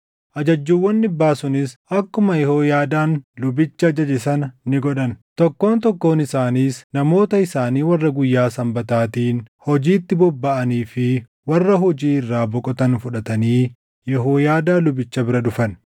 Ajajjuuwwan dhibbaa sunis akkuma Yehooyaadaan lubichi ajaje sana ni godhan. Tokkoon tokkoon isaaniis namoota isaanii warra guyyaa Sanbataatiin hojiitti bobbaʼanii fi warra hojii irraa boqotan fudhatanii Yehooyaadaa lubicha bira dhufan.